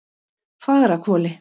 Fagrahvoli